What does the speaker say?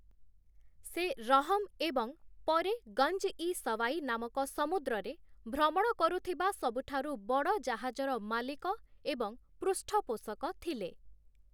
ସେ 'ରହମ୍' ଏବଂ ପରେ 'ଗଞ୍ଜ-ଇ-ସୱାଇ' ନାମକ ସମୁଦ୍ରରେ ଭ୍ରମଣ କରୁଥିବା ସବୁଠାରୁ ବଡ଼ ଜାହାଜର ମାଲିକ ଏବଂ ପୃଷ୍ଠପୋଷକ ଥିଲେ ।